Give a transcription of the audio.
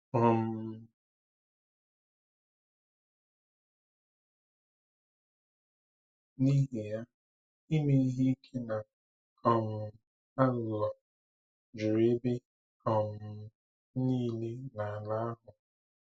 um N’ihi ya, ime ihe ike na um aghụghọ juru ebe um niile n’ala ahụ.